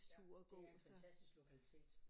Ja det er en fantastisk lokalitet